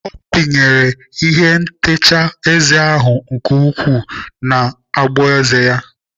Ọ pinyere ihe ntacha eze ahụ nke ukwuu n'ogboeze ya.